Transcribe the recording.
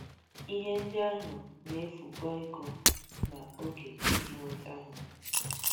Ihe ndị ahụ na - efukwa ego na oge iji nweta ha.